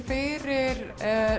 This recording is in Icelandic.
fyrir